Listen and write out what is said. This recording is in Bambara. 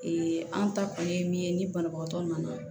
an ta kɔni ye min ye ni banabagatɔ nana